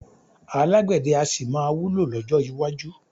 Alágbẹ̀dẹ́ a sì máa wúlò lọ́jọ́ iwájú